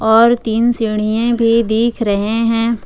और तीन सीढ़िएं भी दिख रहे हैं।